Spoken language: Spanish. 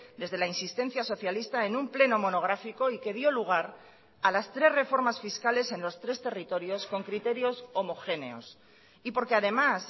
desde la insistencia socialista en un pleno monográfico y que dio lugar a las tres reformas fiscales en los tres territorios con criterios homogéneos y porque además